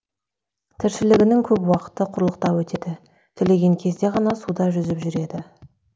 тіршілігінің көп уақыты құрлықта өтеді түлеген кезде ғана суда жүзіп жүреді